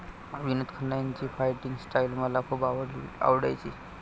विनोद खन्ना यांची fighting style मला खूप आवडायची.